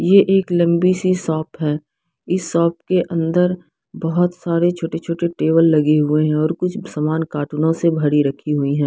ये एक लंबी सी शॉप है इस शॉप के अंदर बहोत सारे छोटे छोटे टेबल लगे हुए है और कुछ सामान कार्टूनो से भरी रखी हुई है।